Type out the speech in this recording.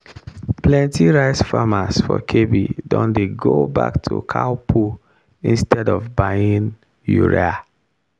plenty rice farmers for kebbi don dey go back to cow poo instead of buying urea.